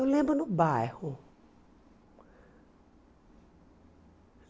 Eu lembro no bairro.